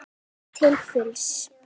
Það er nýtt til fulls.